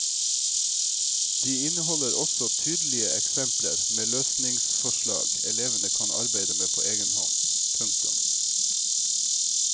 De inneholder også tydelige eksempler med løsningsforslag elevene kan arbeide med på egen hånd. punktum